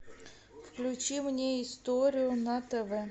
включи мне историю на тв